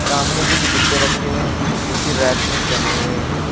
सामने कुछ डिब्बे रखे हुए हैं जो कि रैक में जमे हुए हैं।